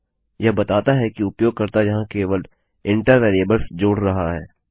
यह बताता है कि उपयोगकर्ता यहाँ केवल इंटर वेरिएबल्स जोड़ रहा है